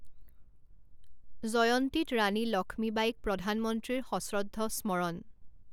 জয়ন্তীত ৰাণী লক্ষ্মীবাঈক প্ৰধানমন্ত্ৰীৰ সশ্ৰদ্ধ স্মৰণ